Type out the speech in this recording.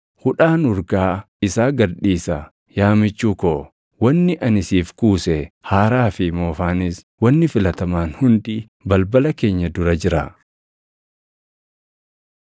Hudhaan urgaa isaa gad dhiisa; yaa michuu ko, wanni ani siif kuuse, haaraa fi moofaanis wanni filatamaan hundi balbala keenya dura jira.